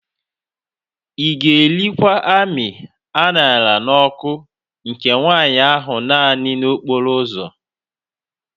Ị ga-erikwa amị a ṅara n'ọkụ nke nwanyị ahụ naanị n'okporo ụzọ